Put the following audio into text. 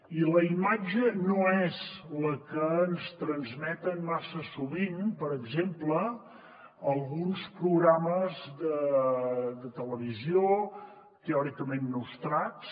i la imatge no és la que ens transmeten massa sovint per exemple alguns programes de televisió teòricament nostrats